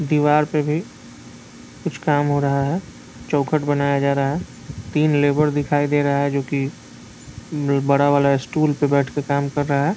दीवार पे भी कुछ काम हो रहा है चौखट बनाया जा रहा है तीन लेबर दिखाई दे रहा है जो कि बड़ा वाला स्टूल पे बैठ के काम कर रहा है।